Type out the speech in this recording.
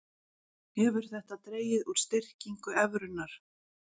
Hefur þetta dregið úr styrkingu evrunnar